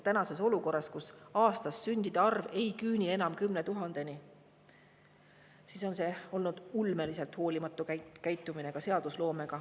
Tänases olukorras, kus aasta sündide arv ei küüni enam 10 000‑ni, on see olnud ulmeliselt hoolimatu käitumine ka seadusloomes.